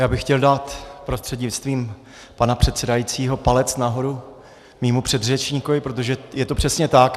Já bych chtěl dát prostřednictvím pana předsedajícího palec nahoru svému předřečníkovi, protože je to přesně tak.